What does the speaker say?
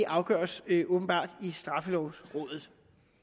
afgøres åbenbart i straffelovrådet